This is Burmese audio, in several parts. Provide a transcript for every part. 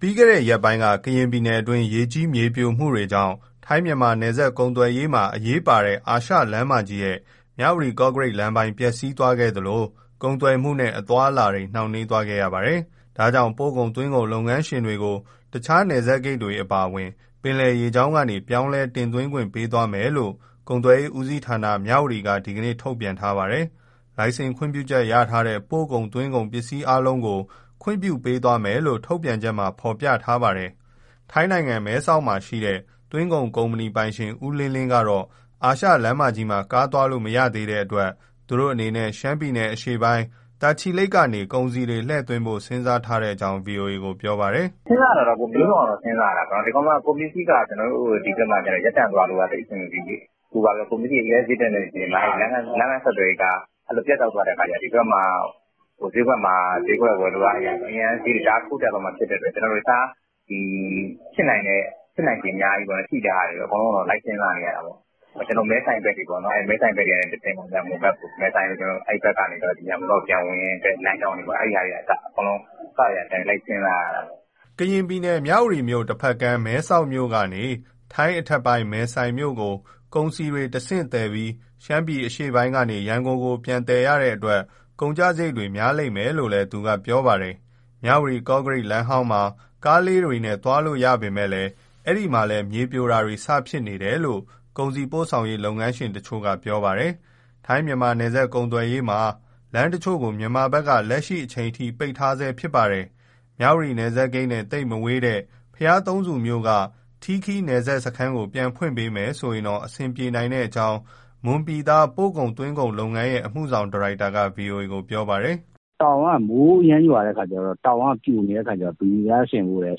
ပြီးခဲ့တဲ့ရက်ပိုင်းက ကရင်ပြည်နယ်တွင်း ရေကြီး မြေပြိုမှုတွေကြောင့် ထိုင်း−မြန်မာ နယ်စပ်ကုန်သွယ်ရေးမှာ အရေးပါတဲ့ အာရှလမ်းမကြီးရဲ့ မြဝတီ-ကော့ကရိတ် လမ်းပိုင်း ပျက်စီးသွားခဲ့သလို၊ ကုန်သွယ်မှုနဲ့ အသွားအလာတွေ နှောင့်နှေးသွားခဲ့ရပါတယ်။ ဒါကြောင့် ပို့ကုန်၊ သွင်းကုန် လုပ်ငန်းရှင်တွေကို တခြား နယ်စပ်ဂိတ်တွေ အပါအဝင် ပင်လယ်ရေကြောင်းကနေ ပြောင်းလဲ တင်သွင်းခွင့်ပေးသွားမယ်လို့ ကုန်သွယ်ရေးဦးစီးဌာန က ဒီနေ့ ထုတ်ပြန်ထားပါတယ်။ လိုင်စင် ခွင့်ပြုချက်ရထားတဲ့ ပို့ကုန်၊ သွင်းကုန်ပစ္စည်းအားလုံး ခွင့်ပြုပေးသွားမယ်လို့ ထုတ်ပြန်ချက်မှာ ဖော်ပြထားပါတယ်။ ထိုင်းနိုင်ငံ၊ မဲဆောက်မြို့မှာရှိတဲ့ သွင်းကုန် ကုမ္ပဏီပိုင်ရှင် ဦးလင်းလင်း ကတော့ အာရှလမ်းမကြီးမှာ ကားသွားလို့ မရသေးတဲ့အတွက် သူတို့အနေနဲ့ ရှမ်းပြည်နယ် အရှေ့ပိုင်း၊ တာချီလိတ် ဘက်နေ ကုန်စည်တွေ လှည့်သွင်းဖို့ စဉ်းစားထားကြောင်း ဗွီအိုအေကို ပြောပါတယ်။ "စဉ်းစားတာတော့ မျိုးစုံတော့ စဉ်းစားရတာပဲ။ ကုန်ပစ္စည်းက ဒီဘက်မှာက ရပ်တန့်သွားလို့က အဆင်မပြေဘူးလေ။ အခု ကုန်ပစ္စည်းတွေက အရမ်းစျေးတက်နေတဲ့ အချိန်မှာ လမ်းပန်း ဆက်သွယ်ရေးက ပြတ်တောက်သွားတဲ့အခါ ဒီဘက်မှာ စျေးကွက်ဝယ်လိုအားအရ အရမ်း စျေးတွေ ထိုးတက်သွားမှာ ဖြစ်တဲ့အတွက် တခြား ဖြစ်နိုင်ခြေရှိတာ အကုန် လိုက်စဉ်းစားနေရတယ်။ မဲဆိုင်ဘက်တွေကတဆင့် ရန်ကုန်ဘက်ကို ပြန်ဝင်တဲ့ လမ်းကြောင်းကနေ အကုန် လိုက်စဉ်းစားနေရတယ်။" ကရင်ပြည်နယ်၊ မြဝတီမြို့ တဖက်ကမ်း မဲဆောက်မြို့ကနေ ထိုင်းအထက်ပိုင်း မဲဆိုင်မြို့ကို ကုန်စည်တွေ တဆင့်သယ်ပြီး ရှမ်းအရှေ့ပိုင်းကနေ ရန်ကုန်ကို ပြန်သယ်ရတဲ့အတွက် ကုန်ကျစရိတ်တွေ များလာလိမ့်မယ်လို့လည်း သူက ပြောပါတယ်။ မြဝတီ- ကော့ကရိတ် လမ်းဟောင်းမှာ ကားလေးတွေနဲ့ သွားလို့ရသေးပေမဲ့ အဲဒီမှာလည်း မြေပြိုတာတွေ စဖြစ်နေတယ်လို့ ကုန်စည်ပို့ဆောင်ရေး လုပ်ငန်းရှင်တချို့က ပြောပါတယ်။ ထိုင်း-မြန်မာ နယ်စပ်ကုန်သွယ်ရေးမှာ လမ်းတချို့ကို မြန်မာဘက်က လက်ရှိအချိန်အထိ ပိတ်ထားဆဲ ဖြစ်ပါတယ်။ မြဝတီ နယ်စပ်ဂိတ်နဲ့ သိပ်မဝေးလှတဲ့ ဘုရားသုံးဆူမြို့က ထီးခီး နယ်စပ်စခန်းကို ပြန်ဖွင့်ပေးမယ် ဆိုရင်တော့ အဆင်ပြေနိုင်ကြောင်း မွန်ပြည်သား ပို့ကုန်၊ သွင်းကုန်လုပ်ငန်းရဲ့ အမှုဆောင်ဒါရိုက်တာက ဗွီအိုအေကို ပြောပါတယ်။ "တောင်က မိုးအရမ်းရွာ ပြိုတဲ့အခါကျတော့ ဘေလီဆင်ဖို့လည်း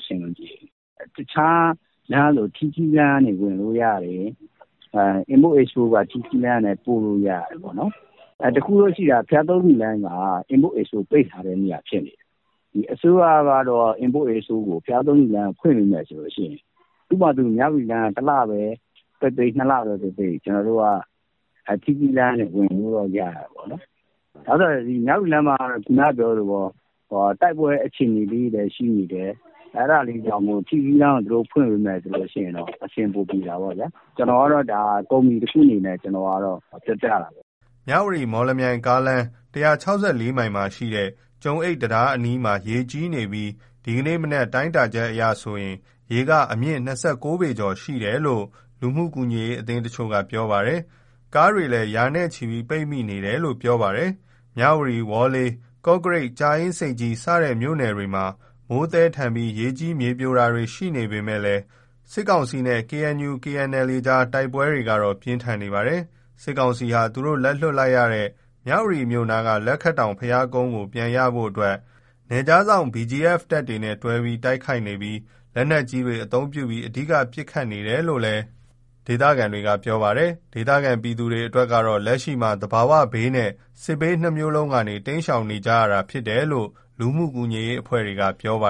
အဆင်မပြေဘူး၊။ တခြားလမ်းဆို import ၊ export က ထီးခီးလမ်းကနေ ပို့လို့ရတယ်။ တခုရှိတာက ဘုရားသုံးဆူလမ်းမှာက import ၊ export ပိတ်ထားတဲ့နေရာ ဖြစ်နေတယ်။ အစိုးရက ဘုရားသုံးဆူလမ်းကို ဖွင့်ပေးမယ်ဆိုရင် မြဝတီလမ်းက တလပဲပိတ်ပိတ်၊ နှစ်လပဲပိတ်ပိတ် ကျနော်တို့က ထီးခီးလမ်းကနေ ဝင်လို့ရတယ်။ မြဝတီလမ်းမှာက တိုက်ပွဲ အခြေအနေလေးတွေလည်း ရှိနေတယ်။ အဲဒါမို့ ထီးခီးလမ်းကို ဖွင့်ပေးမယ်ဆိုရင် အဆင်ပိုပြေတာပေါ့။ ကျနော်က ဒါ ကုမ္ပဏီတခုအနေနဲ့ ပြောပြတာပါ။" မြဝတီ- မော်လမြိုင်ကားလမ်း၊ ၁၆၄ မိုင်မှာရှိတဲ့ ကျုံအိတ်တံတား တဝိုက်မှာ ရေကြီးနေပြီး ဒီနေ့မနက် တိုင်းတာချက်အရဆိုရင် ရေက အမြင့် ၂၉ ပေ ကျော် ရှိတယ်လို့ လူမှုကူညီရေး အသင်းတချို့က ပြောပါတယ်။ ကားတွေလည်း ရာနဲ့ချီ ပိတ်မိနေတယ်လို့ ပြောပါတယ်။ မြဝတီ၊ ဝေါ်လေ၊ ကော့ကရိတ်၊ ကြာအင်းဆိပ်ကြီး စတဲ့ မြို့နယ်တွေမှာ မိုးသည်းထန်ပြီး ရေကြီး မြေပြိုတာတွေ ရှိနေပေမဲ့ စစ်ကောင်စီနဲ့ KNU/KNLA ကြား တိုက်ပွဲတွေကတော့ ပြင်းထန်နေပါတယ်။ စစ်ကောင်စီဟာ သူတို့လက်လွှတ်လိုက်ရတဲ့ မြဝတီမြို့နားက လက်ခတ်တောင် ဘုရားကုန်းကို ပြန်ရဖို့ နယ်ခြားစောင့် BGF တပ်တွေနဲ့တွဲပြီး တိုက်ခိုက်နေပြီး လက်နက်ကြီးတွေ အသုံးပြုပြီး အဓိက ပစ်ခတ်နေတယ်လို့လည်း ဒေသခံတွေက ပြောပါတယ်။ ဒေသခံ ပြည်သူတွေ အတွက်ကတော့ လက်ရှိမှာ သဘာဝဘေးနဲ့ စစ်ဘေး နှစ်မျိုးလုံးကနေ တိမ်းရှောင် နေကြရတာ ဖြစ်တယ်လို့ လူမှုကူညီရေး အဖွဲ့တွေက ပြောနေကြပါ